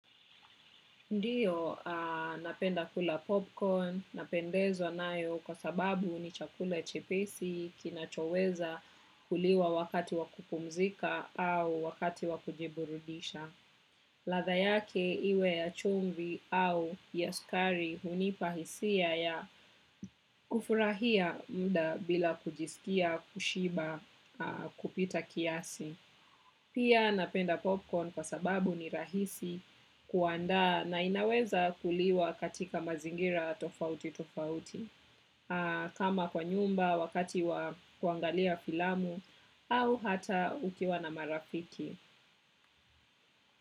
Ndiyo napenda kula popcorn, napendezwa nayo kwa sababu ni chakula chepesi kinachoweza kuliwa wakati wa kupumzika au wakati wa kujiburudisha. Ladha yake iwe ya chumvi au ya sukari hunipa hisia ya kufurahia muda bila kujisikia, kushiba, kupita kiasi. Pia napenda popcorn kwa sababu ni rahisi kuandaa na inaweza kuliwa katika mazingira tofauti tofauti. Kama kwa nyumba wakati wa kuangalia filamu au hata ukiwa na marafiki.